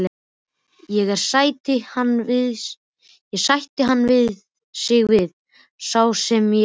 Ég er, sætti hann sig við, sá sem ég er.